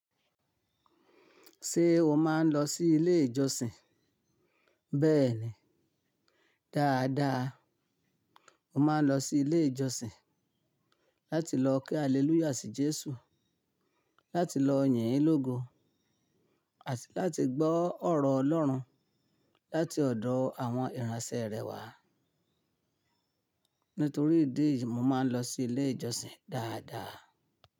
Ṣé o máa ń lọ sí ilé ìjọsìn? Bẹ́ẹ̀ni, dáadáa. Mo máa ń lọ sí ilé ìjọsìn láti lọ kí Haleluya sí Jésù, láti lọ yìn ín lógo àti láti gbọ́ ọ̀rọ̀ Ọlọ́run láti ọ̀dọ̀ àwọn ìránṣẹ́ rẹ wàá. Nítorí ìdí èyí, mo máa ń lọ sí ilé ìjọsìn dáadáa.